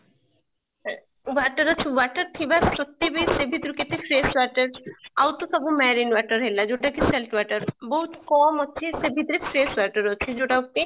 ହୁଁ water ଅଛି water ଥିବା ସତ୍ୱେ ବି ସେ ଭିତରୁ କେତେ fresh water ଆଉ ତ ସବୁ marine water ହେଲା ଯୋଉଟା କି salt water, ବହୁତ କମ ଅଛି ସେ ଭିତରୁ fresh water ଅଛି ଯୋଉଟା କି